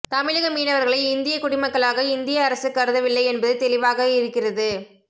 தமிழக மீனவர்களை இந்தியக் குடிமக்களாக இந்திய அரசு கருதவில்லை என்பது தெளிவாகியிருக்கிறது